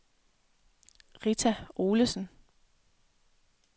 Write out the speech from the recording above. Rita Olesen